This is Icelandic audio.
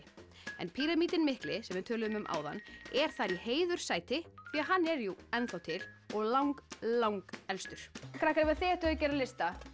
en píramídinn mikli sem við töluðum um áðan er þar í heiðurssæti því hann er ennþá til og lang lang elstur krakkar ef þið ættuð að gera lista